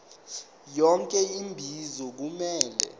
yonke imibuzo kumele